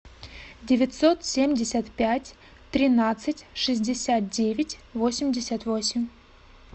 девятьсот семьдесят пять тринадцать шестьдесят девять восемьдесят восемь